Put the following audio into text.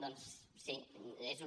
doncs sí és un